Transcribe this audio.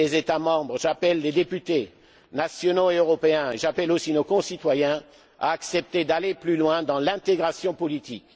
que le début. J'appelle les États membres, j'appelle les députés, nationaux et européens, et j'appelle aussi nos concitoyens à accepter d'aller plus loin dans l'intégration